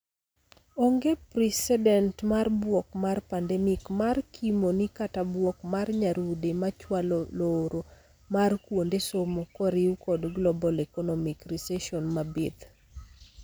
Onge precedent mar bwok mar pandemic mar kimo ni kata bwok mar nyarude machwalo looro mar kuonde somo koriu kod global economic recession mabith.